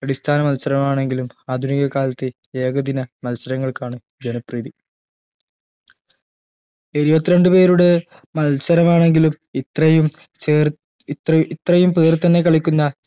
അടിസ്ഥാന മത്സരമാണെങ്കിലും ആധുനിക കാലത്ത് ഏക ദിന മത്സരങ്ങൾക്കാണ് ജനപ്രീതി ഇരുവത്രണ്ടു പേരുടെ മത്സരമാണെങ്കിലും ഇത്രയും ചേർ ഇത്ര ഇത്രയും പേർ തന്നെ കളിക്കുന്ന